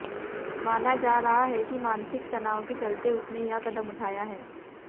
माना जा रहा है कि मानसिक तनाव के चलते उसने यह कदम उठाया है